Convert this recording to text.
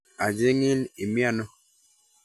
Acheng'in, imiano?